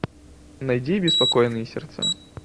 найди беспокойные сердца